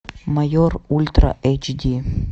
майор ультра эйч ди